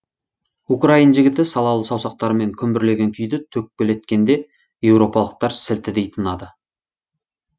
украин жігіті салалы саусақтарымен күмбірлеген күйді төкпелеткенде еуропалықтар сілтідей тынады